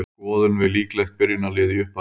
Þá skoðum við líklegt byrjunarlið í upphafi móts.